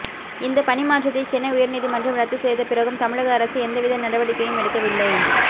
இந்தப் பணி மாற்றத்தை சென்னை உயர்நீதிமன்றம் ரத்து செய்தபிறகும் தமிழக அரசு எந்தவித நடவடிக்கையும் எடுக்கவில்லை